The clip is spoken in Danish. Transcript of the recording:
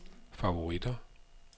favoritter